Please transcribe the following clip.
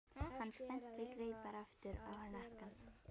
Hann spennti greipar aftur á hnakka.